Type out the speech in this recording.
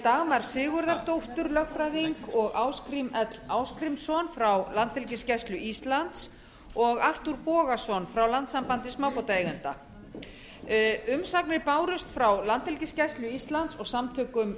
dagmar sigurðardóttur lögfræðing og ásgrím l ásgrímsson frá landhelgisgæslu íslands og arthúr bogason frá landssambandi smábátaeigenda umsagnir bárust frá landhelgisgæslu íslands og samtökum